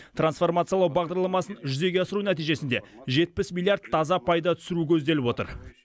трансформациялау бағдарламасын жүзеге асыру нәтижесінде жетпіс миллиард таза пайда түсіру көзделіп отыр